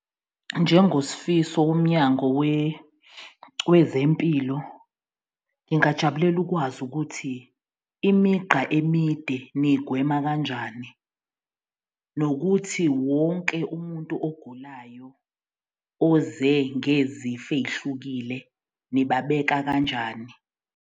NjengoSifiso woMnyango Wezempilo, ngingajabulela ukwazi ukuthi imigqa emide niyigwema kanjani? Nokuthi wonke umuntu ogulayo oze ngezifo ey'hlukile nibabeka kanjani?